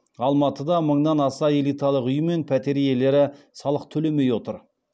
алматыда мыңнан аса элиталық үй мен пәтер иелері салық төлемей отыр